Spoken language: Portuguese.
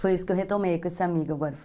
Foi isso que eu retomei com esse amigo agora.